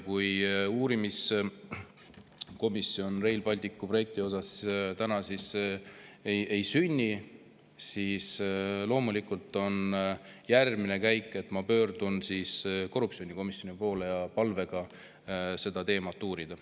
Kui Rail Balticu projekti uurimiskomisjoni täna ei sünni, siis loomulikult on järgmine käik see, et ma pöördun korruptsioonikomisjoni poole palvega seda teemat uurida.